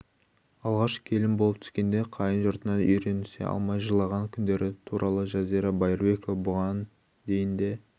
алғаш келін болып түскенде қайын жұртына үйренісе алмай жылаған күндері туралы жазира байырбекова бұған дейін де